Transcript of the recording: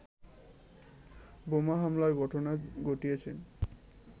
বোমা হামলার ঘটনা ঘটিয়েছে